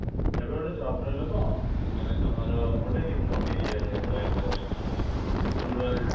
ଏବେ ଗୋଟେ job role ରେ ନୁହ ମାନେ ତମର ଗୋଟେ remote area ରେ ରହିବା ଟା actually, rural